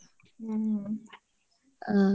ಹ್ಮ್‌